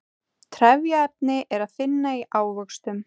trefjaefni er að finna í ávöxtum